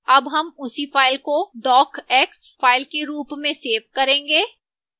अब हम उसी फाइल को docx फाइल के रूप में सेव करेंगे